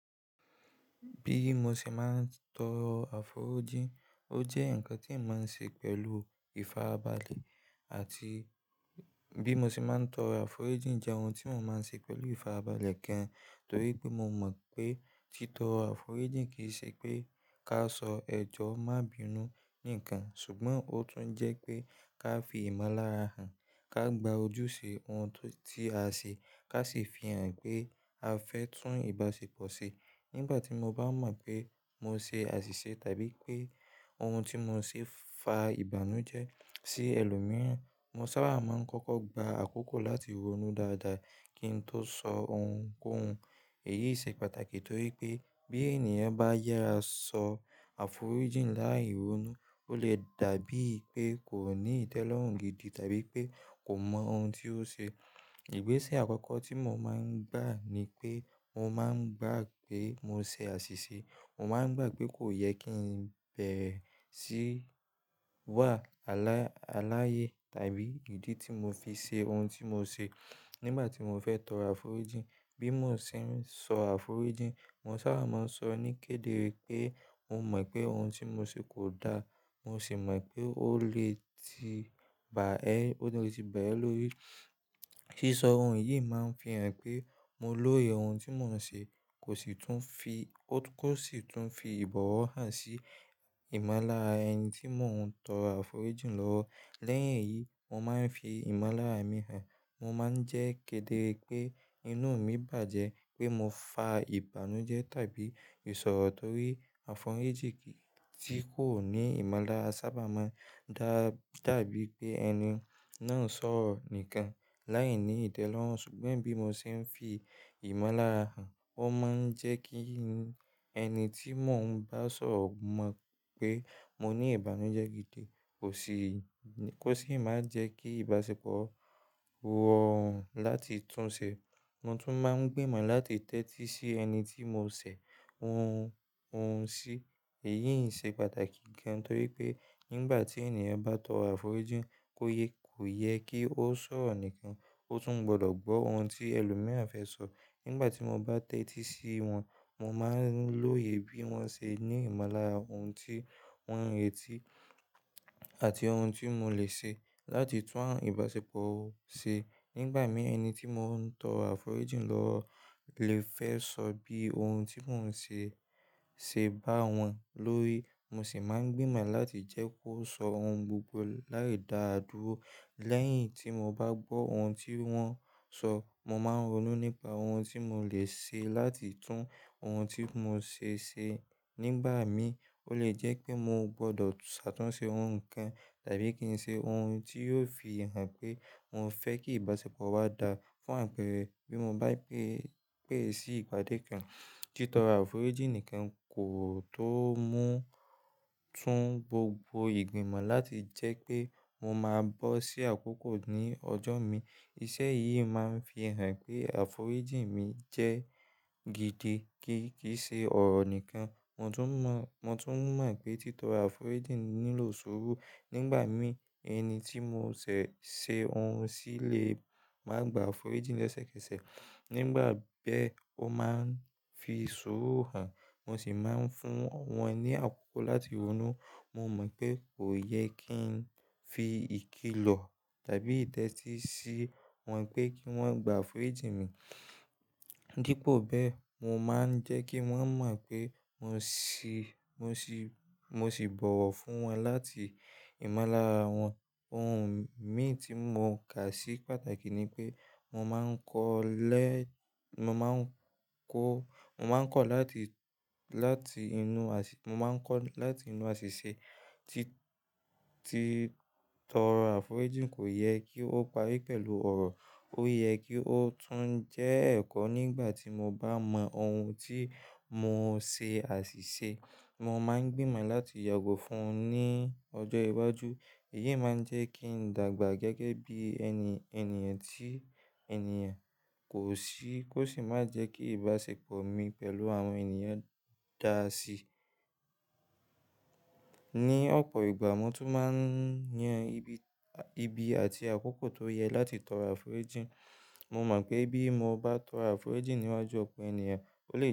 Bí mo ṣe máa ń tọrọ àforíjìn, ó jẹ́ ǹkan tí éyan mò ń ṣe pẹ̀lú ìfarabalẹ̀ àti-- bí mo ṣe máa ń tọrọ àforíjìn jẹ́ ohun tí mò máa ń ṣe pẹ̀lú ìfarabalẹ̀ gan torí pé mo mọ̀ pé títọrọ àforíjìn kì í ṣe pé ká sọ ẹjọ́ má bínú ní kan ṣùgbọ́n ó tún jẹ́ pé ká fi ìmọ̀lára hàn, ká gba ojúṣe ohun tó ti a ṣe ká sì fi hàn pé a fẹ́ tún ìbáṣepọ̀ ṣe. Nígbà tí mo bá mọ̀ pé mo ṣe àṣìṣe tàbí pé ohun tí mo ṣe fa ìbànújẹ́ sí ẹlòmíràn, mo sábà máa ń kọ́kọ́ gba àkókò láti ronú dáadáa kí n tó sọ ohunkóhun. Èyí ṣe pàtàkì torí pé bí ènìyàn bá yàra sọ àforíjìn láì ronú, ó lè dàbí pé kò ní ìtẹ́lọ́rùn gidi tàbí pé kò mọ ohun tí ó ṣe. Ìgbésẹ̀ àkọ́kọ́ tí mo máa ń gbà ni pé mo máa ń gbà pé mo ṣe àṣìṣe. Mo máa ń gbà pé kò yẹ kí n bẹ̀ré sí wà aláyé tàbí ìdí tí mo fi ṣe ohun tí mo ṣe nígbà tí mo fẹ́ tọrọ àforíjìn. Bí mo ṣe ń sọ àforíjìn, mo sábà máa ń sọ ní kéde wípé mo mọ̀ pé ohun tí mo ṣe kò da. Mo sì mọ̀ pé ó lè ti bà ẹ́, ó lè ti bà ẹ́ lórí. Sísọ ohun yìí máa ń fi hàn pé mo lóye ohun tí mò ń ṣe kò sì tún fi, ó kò sì tún fi ìbọ̀wọ̀ hàn sí ìmọ̀lára ẹni tí mò ń tọrọ àforíjìn lọ́wọ́. Lẹ́yìn èyí, mo máa ń fi ìmọ̀lára mi hàn. Mo máa ń jẹ́ kéde wípé inú mi bàjẹ́ pé mo fa ìbànújẹ́ tàbí ìṣọ̀rọ̀ torí àforíjìn tí kò ní ìmọ̀lára sábà máa ń dàbí pé ẹni náà ń sọ̀rọ̀ nìkan láìní ìtẹ́lọ́rùn ṣùgbọ́n bí mo ṣe ń fi ìmọ̀lára hàn, ó máa ń jẹ́ kí ẹni tí mò ń bá sọ̀rọ̀ mọ̀ pé mo ní ìbànújẹ́ gidi kò sì, kò sì máa jẹ́ kí ìbáṣepọ̀ rórùn láti tún ṣe. Mo tún máa ń gbìmọ̀ láti tẹ́tí sí ẹni tí mo ṣẹ̀ ohun, òun sí. Èyí ṣe pàtàkì gan torí pé nígbà tí ènìyàn bá tọrọ àforíjìn, kó yé, kò yẹ kí ó sọ̀rọ̀ nìkan. Ó tún gbọdọ̀ gbọ́ ohun tí ẹlòmíràn fẹ́ sọ. Nígbà tí mo bá tẹ́tí sí wọn, mo máa ń lóye bí wọ́n ṣe ní ìmọ̀lára ohun tí wọ́n ń retí àti ohun tí mo lè ṣe láti tún ìbáṣepọ̀ ṣe. Nígbà mì ẹni tí mò ń tọ àforíjìn lọ́wọ́ lè fẹ́ sọ bí ohun tí mò ń ṣe ṣe bá wọn lórí. Mo sì máa ń gbìmọ̀ láti jẹ́ kó sọ ohun gbogbo láì da á dúró. Lẹ́yìn tí mo bá gbọ́ ohun tí wọ́n sọ, mo máa ń ronú nípa ohun tí mo lè ṣe láti tún ohun tí mo ṣe ṣe. Nígbà mì ó lè jẹ́ pé mo gbọdọ̀ ṣàtúnṣe ohun kan tàbí kí n ṣe ohun tí yóò fi hàn pé mo fẹ́ kí ìbáṣepọ̀ wa dá fún àpérẹ. Bí mo bá pè é, pè é sí ìgbádé kan, títọrọ àforíjìn nìkan kò tó mú, tún gbogbo ìgbìmọ̀ láti jẹ́ pé mo máa bọ́ sí àkókò ní ọjọ́ mi. Iṣẹ́ yìí máa ń fi hàn pé àforíjìn mi jẹ́ gidi kì í ṣe ọ̀rọ̀ nìkan. Mo tún mọ pé títọrọ àforíjìn nílò sùúrù. Nígbà mì ẹni tí mo ṣẹ̀ ṣe òun sì lè máa gba àforíjìn lẹ́sẹ̀kẹsẹ̀. Nígbà bẹ́ ó máa ń fi sùúrù hàn, mo sì máa ń fún wọn ní àkókò láti ronú. Mo mọ̀ pé kò yẹ kí n fi ìkìlọ̀ tàbí ìtẹ́tí sí wọn pé kí wọ́n gba àforíjìn mi. Dípò bẹ́ẹ, mo máa ń jẹ́ kí wọ́n mọ̀ pé mo sì, mo sì, mo sì bọ̀wọ̀ fún wọn láti ìmọ̀lára wọn. Ohun mi tí mò ń kà sí pàtàkì ni pé mo máa ń kọ́ lẹ́, mo máa ń kọ́, mo máa ń kọ̀ láti, láti inú, mo máa ń kọ̀ láti inú àṣìṣe tí, tí tọrọ àforíjìn kò yẹ kí ó parí pẹ̀lú ọ̀rọ̀. Ó yẹ kí ó tún jẹ́ ẹ̀kọ́ nígbà tí mo bá mọ ohun tí mò ṣe àṣìṣe. Mo máa ń gbìmọ̀ láti yàgò fún un ní ọjọ́ iwájú. Èyí máa ń jẹ́ kí n dàgbà gẹ́gẹ́ bí ẹni, ènìyàn tí ènìyàn kò sí, kò sì máa jẹ́ kí ìbáṣepọ̀ mi pẹ̀lú àwọn ènìyàn dà si. Ni ọ̀pọ̀ ìgbà mo tún máa ń yan ibi àti àkókò tó yẹ láti tọrọ àforíjìn. Mo mọ̀ pé bí mo bá tọrọ àforíjìn níwájú ọ̀pọ̀ ènìyàn, ó lè.